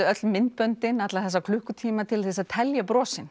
öll myndböndin alla þessa klukkutíma til þess að telja